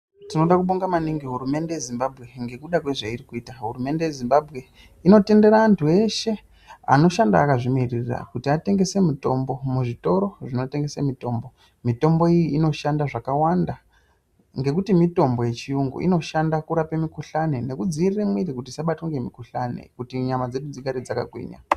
Tinoda kubonga maningi hurumende yeZimbabwe ngekuda kwezvairi kuita. Hurumende yeZimbabwe inotendera antu eshe anoshanda akazvimiririra kuti atengese mitombo muzvitoro zvinotengese mitombo. Mitombo iyi inoshanda zvakawanda ngekuti mitombo yechiyungu inoshanda kurape mikhuhlani nekudziirira muviri kuti usabatwe ngemikhuhlani kuti nyama dzedu dzedu dzigare dzakagwinya.